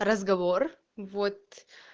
разговор вот